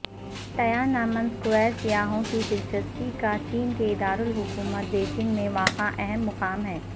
Tiananmen Square سیاحوں کی دلچسپی کا چین کے دارالحکومت بیجنگ میں واقع اہم مقام ہے